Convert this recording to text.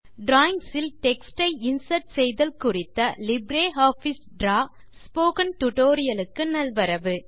drawings ல் text ஐ insert செய்தல் குறித்த லிப்ரியாஃபிஸ் டிராவ் ஸ்போகன் டுடோரியலுக்கு நல்வரவு